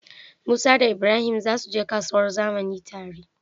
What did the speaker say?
musa da ibrahim zasu je kasuwar zamani tare